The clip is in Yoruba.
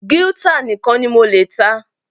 Guitar nìkan ni mo lè ta.